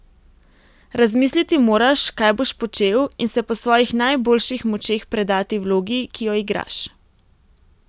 Razmisliti moraš, kaj boš počel, in se po svojih najboljših močeh predati vlogi, ki jo igraš.